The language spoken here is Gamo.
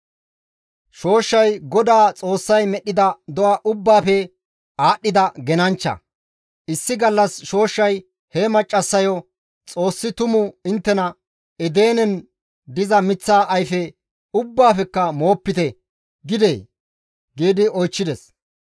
Shooshshay GODAA Xoossay medhdhida do7a ubbaafe aadhdhida genanchcha; issi gallas shooshshay he maccassayo, «Xoossi tumu inttena, ‹Edenen diza miththa ayfe ubbaafekka moopite› gidee?» gi oychchides.